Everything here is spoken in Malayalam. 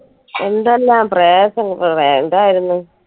എന്തെല്ലാം പ്രയാസങ്ങൾ വേണ്ടായിരുന്ന്